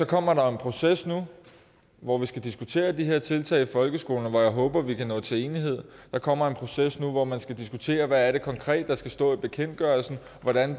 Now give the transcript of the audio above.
kommer der en proces nu hvor vi skal diskutere de her tiltag i folkeskolen og hvor jeg håber at vi kan nå til enighed der kommer en proces nu hvor man skal diskutere hvad det konkret er der skal stå i bekendtgørelsen og hvordan